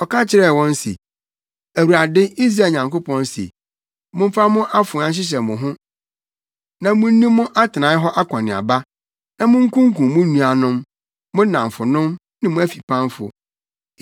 Ɔka kyerɛɛ wɔn se, “ Awurade Israel Nyankopɔn se, ‘Momfa mo afoa nhyehyɛ mo ho na munni mo atenae hɔ akɔneaba, na munkunkum mo nuanom, mo nnamfonom ne mo afipamfo.’ ”